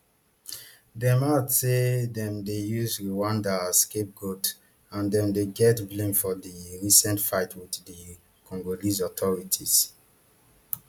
den add say dem dey use rwanda as scapegoat and dem dey get blame for di recent fight wit di congolese authorities